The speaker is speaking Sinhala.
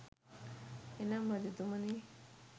එනම් රජතුමනි,